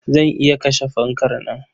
Zan iya kashe fankar nan.